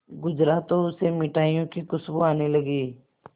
गुजरा तो उसे मिठाइयों की खुशबू आने लगी